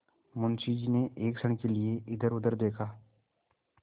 मुंशी जी ने एक क्षण के लिए इधरउधर देखा